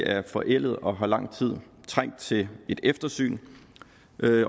er forældede og har i lang tid trængt til et eftersyn